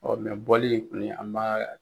Ɔ bɔli in kɔni an ma.